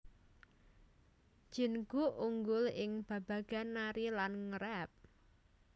Jin Guk unggul ing babagan nari lan nge rap